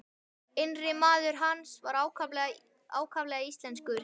Innri maður hans var ákaflega íslenskur.